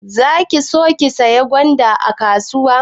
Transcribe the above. Za ki so ki sayi gwanda a kasuwan?